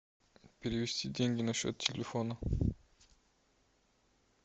перевести деньги на счет телефона